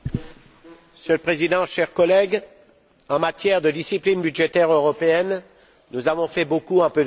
Monsieur le Président, chers collègues, en matière de discipline budgétaire européenne, nous avons fait beaucoup en peu de temps.